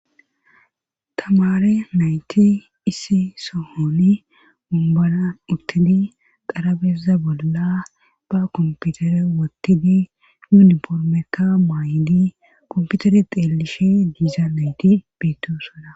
tamare naati issi sohoni wonbaran uttidi xarpheza bolla ba kompitere wotidi yuniformekka mayidi kompitere xeelishe diza nayti beetosona.